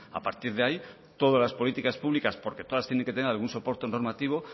a partir de ahí todas las políticas públicas porque todas tienen que tener algún soporte normativo